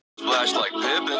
ar mun